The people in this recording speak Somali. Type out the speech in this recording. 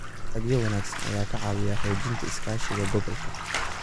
Dalagyo wanaagsan ayaa ka caawiya xoojinta iskaashiga gobolka.